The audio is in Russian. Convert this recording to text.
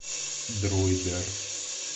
дроидер